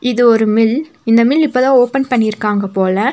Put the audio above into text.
இது ஒரு மில் இந்த மில் இப்பதா ஓப்பன் பண்ணிருக்காங்க போல.